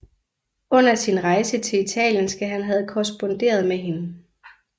Under sin rejse til Italien skal han have korresponderet med hende